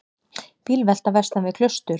Bílvelta vestan við Klaustur